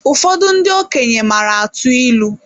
Ụfọdụ ndị okenye maara atụ ịlụ